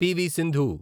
PV. Sindhu